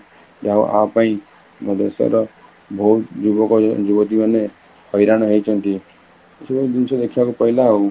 ଯାହା ହଉ ଆପାଇଁ ଆମ ଦେଶର ବହୁତ ଯୁବକ ଯୁବତୀ ମାନେ, ହଇରାଣ ହେଇଛନ୍ତି, କିଛି ଗୋଟେ ଜିନିଷ ଦେଖିବାକୁ ପାଇଲା ଆଉ